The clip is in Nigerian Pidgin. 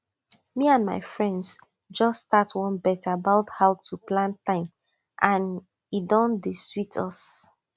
me and my friends just start one bet about how to plan time and e don dey sweet us